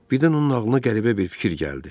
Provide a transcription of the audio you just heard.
Birdən onun ağlına qəribə bir fikir gəldi.